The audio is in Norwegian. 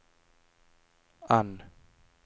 N